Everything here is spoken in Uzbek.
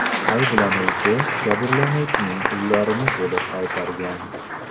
Ayblanuvchi jabrlanuvchining pullarini to‘liq qaytargan.